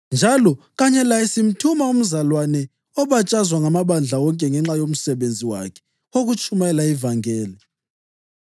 Njalo kanye laye sithuma umzalwane obatshazwa ngamabandla wonke ngenxa yomsebenzi wakhe wokutshumayela ivangeli.